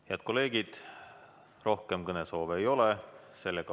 Head kolleegid, rohkem kõnesoove ei ole.